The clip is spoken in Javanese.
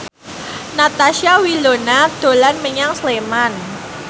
Natasha Wilona dolan menyang Sleman